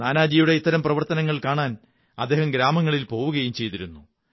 നാനാജിയുടെ ഇത്തരം പ്രവര്ത്തെനങ്ങൾ കാണാൻ അദ്ദേഹം ഗ്രാമങ്ങളിൽ പോവുകയും ചെയ്തിരുന്നു